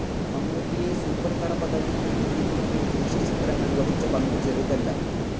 മമ്മൂട്ടിയെ സൂപ്പർ തറ പദവിയിൽ എത്തിക്കുന്നതിൽ ജോഷി ചിത്രങ്ങൾ വഹിച്ച പങ്കു ചെറുതല്ല.